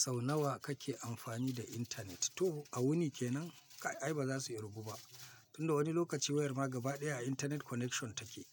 Sau nawa kake amfani da intanet? To a wuni kenan, kai ai ba za su yi kirgu ba. Tun da wani lokaci wayar ma gaba ɗaya a intanet connection take.